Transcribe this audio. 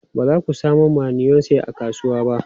Ba za ku samo mayonnaise a kasuwa ba?